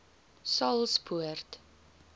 saulspoort